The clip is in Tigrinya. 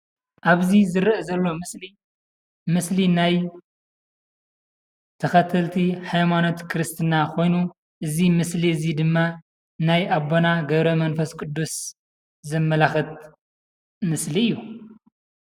ኣብዚ እንሪኦ ዘለና ምስሊናይ ተከተልቲ ሃይማኖት ክርስትና ኮይኑ እዚ ምስሊ እዙይ ድማ ናይ ኣቦና ገብረ-መንፈስ ቅዱስ ዘመላክት ምስሊ እዩ።